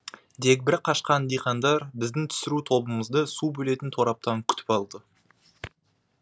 дегбірі қашқан диқандар біздің түсіру тобымызды су бөлетін тораптан күтіп алды